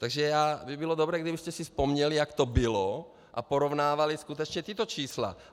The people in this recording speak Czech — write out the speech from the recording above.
Takže by bylo dobré, kdybyste si vzpomněli, jak to bylo, a porovnávali skutečně tato čísla.